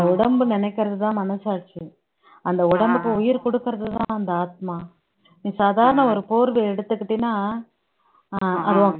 உடம்பு நினைக்கிறதுதான் மனசாட்சி அந்த உடம்புக்கு உயிர் குடுக்குறதுதான் அந்த ஆத்மா நீ சாதாரண ஒரு போர்வை எடுத்துக்கிட்டீன்னா ஆஹ்